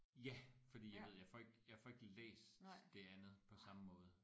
Ja fordi jeg ved jeg får ikke jeg får ikke læst det andet på samme måde